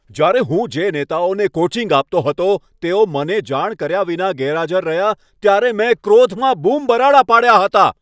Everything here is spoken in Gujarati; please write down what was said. જ્યારે હું જે નેતાઓને કોચિંગ આપતો હતો તેઓ મને જાણ કર્યા વિના ગેરહાજર રહ્યા ત્યારે મેં ક્રોધમાં બૂમબરાડા પાડ્યા હતા.